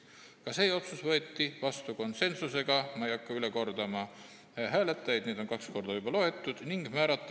Ka see otsus võeti vastu konsensuslikult, aga ma ei hakka hääletajaid üle kordama, neid olen ma juba kaks korda ette lugenud.